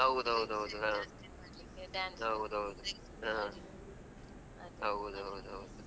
ಹೌದೌದೌದು ಆ ಹೌದ್